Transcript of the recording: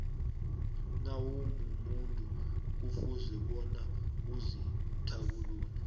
nawumumuntu kufuze bonyana uzithabulule